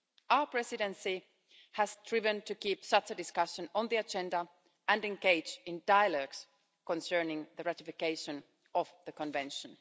Our Presidency has striven to keep such a discussion on the agenda and engage in dialogues concerning the ratification of the Convention.